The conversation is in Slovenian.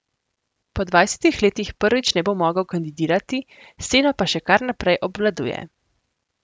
Po dvajsetih letih prvič ne bo mogel kandidirati, sceno pa še kar naprej obvladuje.